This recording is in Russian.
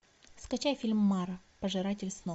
скачай фильм мара пожиратель снов